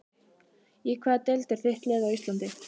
Í hvaða deild er þitt lið á Íslandi?